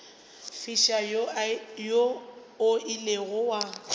fiša wo o ilego wa